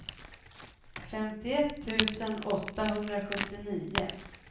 femtioett tusen åttahundrasjuttionio